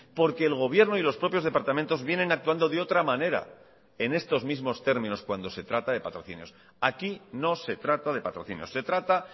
porque el gobierno y los propios departamentos vienen actuando de otra manera en estos mismos términos cuando se trata de patrocinios aquí no se trata de patrocinios se trata